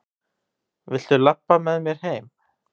Viltu labba með mér heim!